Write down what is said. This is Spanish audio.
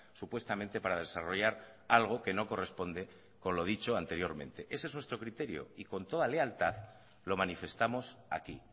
supuestamente para desarrollar algo que no corresponde con lo dicho anteriormente ese es nuestro criterio y con toda lealtad lo manifestamos aquí